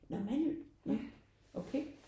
Når Mandø ja okay